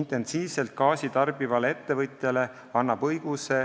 Intensiivselt gaasi tarbivale ettevõtjale annab õiguse